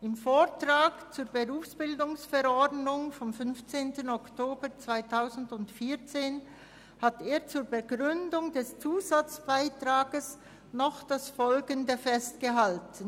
Im Vortrag zur Verordnung über die Berufsbildung, die Weiterbildung und die Berufsberatung vom 15. Oktober 2014 (BerV) hat er zur Begründung des Zusatzbeitrags noch Folgendes festgehalten: